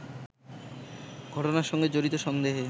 ঘটনার সঙ্গে জড়িত সন্দেহে